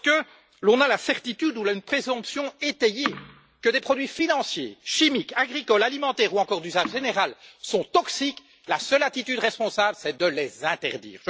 Lorsque l'on a la certitude ou une présomption étayée que des produits financiers, chimiques, agricoles, alimentaires ou encore d'usage général sont toxiques, la seule attitude responsable, c'est de les interdire.